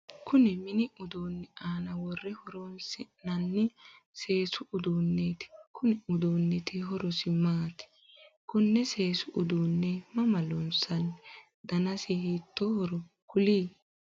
Kunni minni uduunni aanna wore horoonsi'nanni seesu uduuneeti konni uduunniti horosi maati? Konne seesu uduune mama loonsanni? Dannasi hiitoohoro kuli?